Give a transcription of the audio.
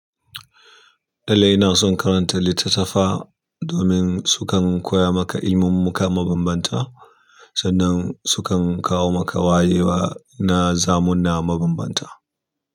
Lallai ina son karanta littattafa domin sukan, koya maka ilimim muka mabambanta sannan, sukan, kawo maka wayewa na zamuna mabambanta.